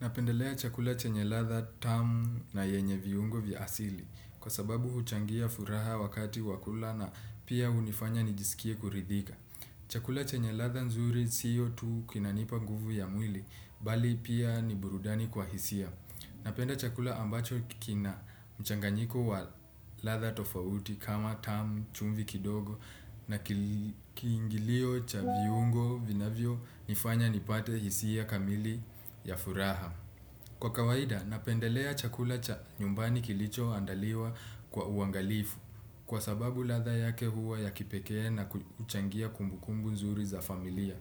Napendelea chakula chanye ladha tamu na yenye viungo vya asili kwa sababu huchangia furaha wakati wakula na pia unifanya nijisikie kuridhika. Chakula chanye ladha nzuri siyo tu kinanipa nguvu ya mwili bali pia ni burudani kwa hisia. Napenda chakula ambacho kina mchanganyiko wa latha tofauti kama tamu chumvi kidogo na kiingilio cha viungo vinavyo nifanya nipate hisi ya kamili ya furaha. Kwa kawaida napendelea chakula cha nyumbani kilicho andaliwa kwa uangalifu kwa sababu latha yake huwa ya kipekee na uchangia kumbukumbu nzuri za familia.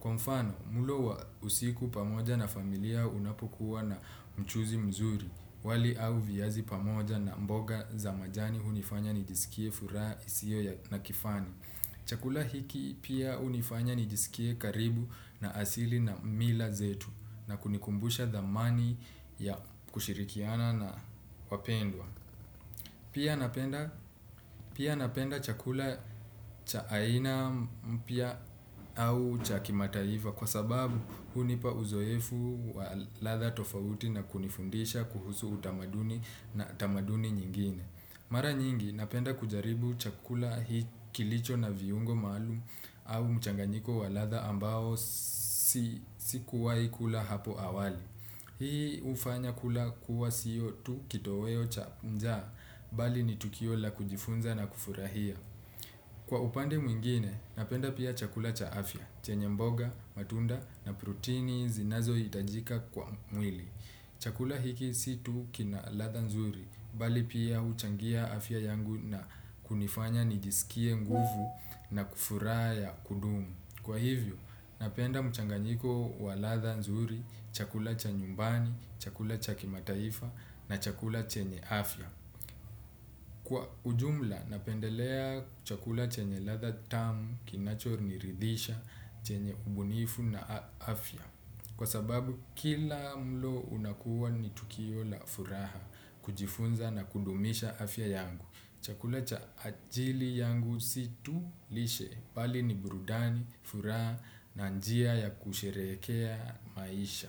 Kwa mfano, mulo wa usiku pamoja na familia unapokuwa na mchuzi mzuri, wali au viyazi pamoja na mboga za majani unifanya nijisikie furaha isio ya nakifani. Chakula hiki pia unifanya nijisikie karibu na asili na mila zetu na kunikumbusha the money ya kushirikiana na wapendwa. Pia napenda chakula cha aina mpya au cha kimataiva kwa sababu hunipa uzoefu wa ladha tofauti na kunifundisha kuhusu utamaduni na tamaduni nyingine. Mara nyingi napenda kujaribu chakula hii kilicho na viungo malum au mchanganyiko wa ladha ambao sikuwahi kula hapo awali. Hii ufanya kula kuwa siyo tu kito weo cha njaa, bali ni tukiola kujifunza na kufurahia. Kwa upande mwingine napenda pia chakula cha afya chenye mboga matunda na protini zinazoitajika kwa mwili. Chakula hiki situ kina latha nzuri, bali pia uchangia afya yangu na kunifanya nijisikie nguvu na kufura ya kudumu. Kwa hivyo, napenda mchanganyiko wa ladha nzuri, chakula cha nyumbani, chakula cha kimataifa na chakula chenye afya. Kwa ujumla, napendelea chakula chenye latha tamu, kinacho ni ridisha, chenye ubunifu na afya. Kwa sababu, kila mlo unakuwa ni tukio la furaha, kujifunza na kudumisha afya yangu. Chakula cha ajili yangu situ lishe dali ni brudani, furaha na njia ya kusherehekea maisha.